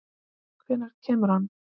Hvenær kemur hann?